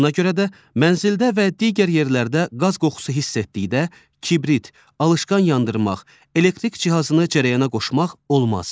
Buna görə də mənzildə və digər yerlərdə qaz qoxusu hiss etdikdə kibrit, alışqan yandırmaq, elektrik cihazını cərəyana qoşmaq olmaz.